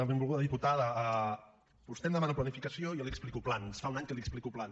benvolguda diputada vostè em demana planificació i jo li explico plans fa un any que li explico plans